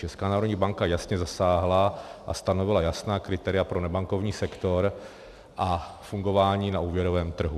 Česká národní banka jasně zasáhla a stanovila jasná kritéria pro nebankovní sektor a fungování na úvěrovém trhu.